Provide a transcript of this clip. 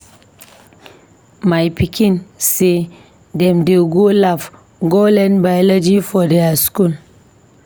My pikin sey dem dey go lab go learn Biology for their skool.